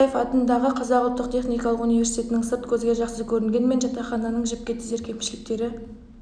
ал қаныш сәтбаев атындағы қазақ ұлттық техникалық университетінің сырт көзге жақсы көрінгенмен жатақхананың жіпке тізер кемішіліктері